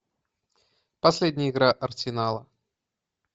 последняя игра арсенала